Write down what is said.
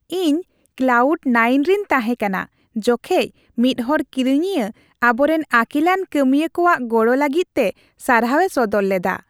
ᱤᱧ cloud nine ᱨᱮᱧ ᱛᱟᱦᱮᱸ ᱠᱟᱱᱟ, ᱡᱚᱠᱷᱮᱡ ᱢᱤᱫ ᱦᱚᱲ ᱠᱤᱨᱤᱧᱤᱭᱟᱹ ᱟᱵᱚᱨᱮᱱ ᱟᱹᱠᱤᱞᱟᱱ ᱠᱟᱹᱢᱤᱭᱟᱹ ᱠᱚᱣᱟᱜ ᱜᱚᱲᱚ ᱞᱟᱹᱜᱤᱫ ᱛᱮ ᱥᱟᱨᱦᱟᱣᱮ ᱥᱚᱫᱚᱨ ᱞᱮᱫᱟ ᱾